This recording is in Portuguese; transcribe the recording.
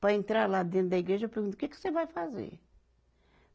Para entrar lá dentro da igreja, eu pergunto, o que que você vai fazer?